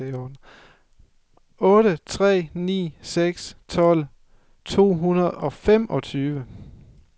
otte tre ni seks tolv to hundrede og femogtyve